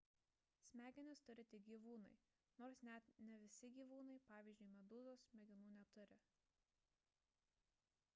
smegenis turi tik gyvūnai nors net ne visi gyvūnai pavyzdžiui medūzos smegenų neturi